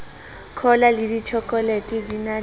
cola le ditjhokolete di na